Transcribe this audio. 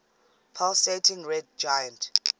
pulsating red giant